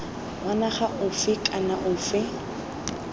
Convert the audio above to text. wa naga ofe kana ofe